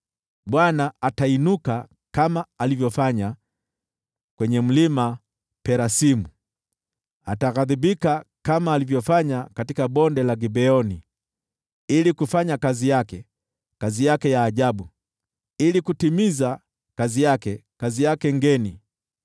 Bwana atainuka kama alivyofanya kwenye Mlima Perasimu, ataghadhibika kama alivyofanya katika Bonde la Gibeoni: ili kufanya kazi yake, kazi yake ya ajabu, ili kutimiza kazi yake, kazi yake ngeni.